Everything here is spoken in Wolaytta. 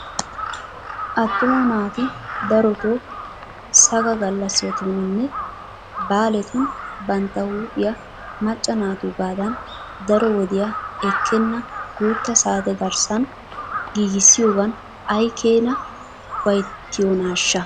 Attuma naati darotoo sagga gallassatuninne baaletun bantta huuphphiyaa macca naatuugaadan daro wodiyaa ekkenna guuta saate garssan giigissiyoogan ay keenaa ufayttiyoonaashsha?